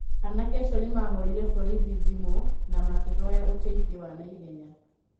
Anake acio nĩmahũrĩire borithi thĩmũna makĩhoya ũteithio wa naihenya.